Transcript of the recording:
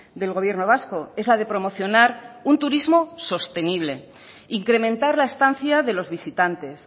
del gobierno vasco es la de promocionar un turismo sostenible incrementar la estancia de los visitantes